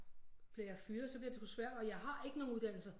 Bliver jeg fyret så bliver det sgu svært og jeg har ikke nogen uddannelse